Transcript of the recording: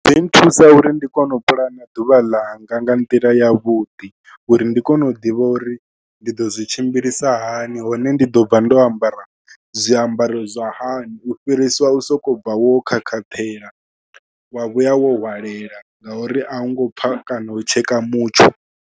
Zwi nthusa uri ndi kone u puḽana ḓuvha ḽanga nga nḓila yavhuḓi uri ndi kone u ḓivha uri ndi ḓo zwi tshimbilisa hani, hone ndi ḓo bva ndo ambara zwiambaro zwa hani, u fhirisa u sokou bva wo khakhaṱhela, wa vhuya wo hwalela ngauri a u ngo pfha kana u tsheka mutsho.